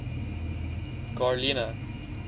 garlina